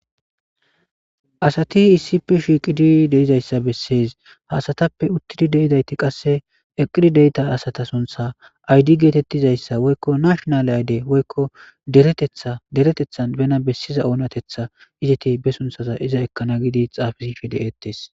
Asati issippe shiiqid de'izaysa beses, ha asatappe utidi de'izayti qase eqidi de'za asata suntha aydi (ID) getetizaysa woyko national (nashinal) id,woyko deretethan bena besiza onatetha iZet bena besana iza ekana giidi xaafisishe de'etesi.